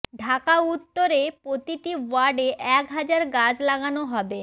ঢাকা উত্তরে প্রতিটি ওয়ার্ডে এক হাজার গাছ লাগানো হবে